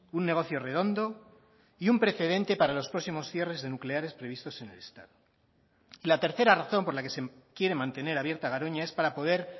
un negocio redondo y un precedente para los próximos cierres de nucleares previstos en el estado la tercera razón por la que se quiere mantener abierta garoña es para poder